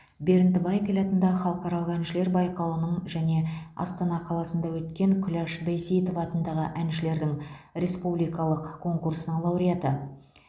бернд вайкель атындағы халықаралық әншілер байқауының және астана қаласынды өткен күләш байсейітова атындағы әншілердің республикалық конкурсының лауреаты